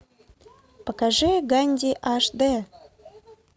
покажи ганди аш д